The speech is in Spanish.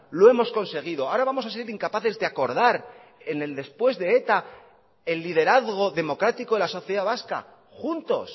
lo hemos conseguido ahora vamos a ser incapaces de acordar en el después de eta el liderazgo democrático de la sociedad vasca juntos